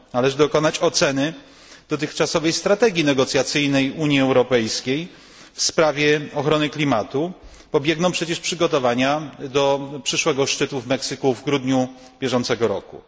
Należy dokonać oceny dotychczasowej strategii negocjacyjnej Unii Europejskiej w sprawie ochrony klimatu, bo trwają przecież przygotowania do przyszłego szczytu w Meksyku w grudniu bieżącego roku.